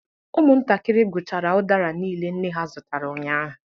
Ụmụntakịrị gwụchara udara niile nne ha zụtara ụnyahụ